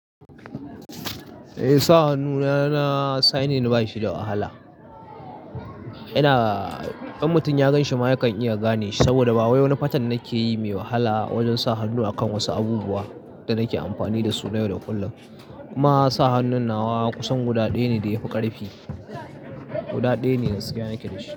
Eh sa hannu na signin bashi da wahala. Ina, in mutum ya ganshi ma yakan iya gane shi saboda ba wayo na fatan nake yi mai wahala wajen sa hannu a kan wasu abubuwa da nake amfani dasu yau da kullum. Kuma sa hannun na kusan guda ɗaya ne da yafi ƙarfi, guda ɗaya ne da suka yanke da shi.